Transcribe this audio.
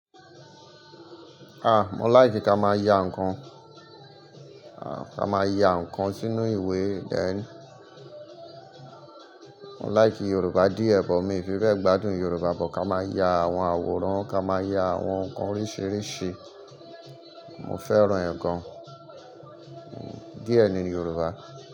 Ah! Mo like ká má ya nkàn, ah! Ká má ya nkàn sínú ìwé. Then, mo like Yoruba díẹ̀, but mi fi fẹ́ gbádùn Yoruba, but ká má ya àwọn àwòrán, ká má ya àwọn nkàn oríṣiríṣi. Mo fẹ́ràn nkàn, díẹ̀ ni Yoruba.